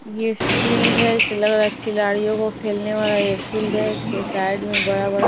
ये फील्ड है इससे लग रहा है खिलाड़ियों को खेलने वाला यह फील्ड है इसके साइड में बड़ा-बड़ा--